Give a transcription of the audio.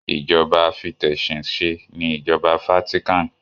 Ìjọba afitesinse ni ìjọba Vatican.